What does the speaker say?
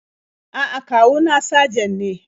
A'a, kawu na sajan ne.